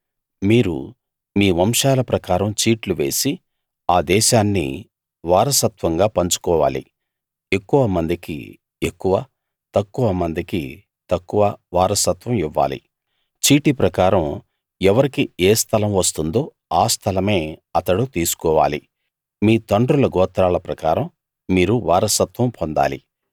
మీరు మీ వంశాల ప్రకారం చీట్లు వేసి ఆ దేశాన్ని వారసత్వంగా పంచుకోవాలి ఎక్కువ మందికి ఎక్కువ తక్కువ మందికి తక్కువ వారసత్వం ఇవ్వాలి చీటీ ప్రకారం ఎవరికి ఏ స్థలం వస్తుందో ఆ స్థలమే అతడు తీసుకోవాలి మీ తండ్రుల గోత్రాల ప్రకారం మీరు వారసత్వం పొందాలి